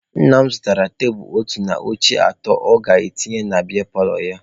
Nna m zụtara otu tebulu na oche atọ ọ ga-etinye na biya paalọ ya.